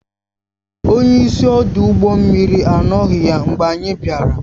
Onye isi ọdụ ụgbọ mmiri anọghị ya mgbe anyị bịara